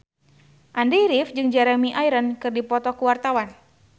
Andy rif jeung Jeremy Irons keur dipoto ku wartawan